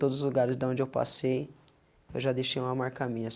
Todos os lugares da onde eu passei, eu já deixei uma marca minha.